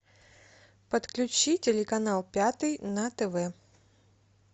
подключи телеканал пятый на тв